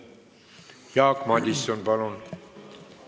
Jaak Madison, palun!